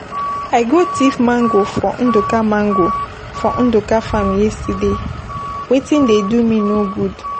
I go thief mango for Ndụka mango, for Nduka farm yesterday. Wetin dey do me no good.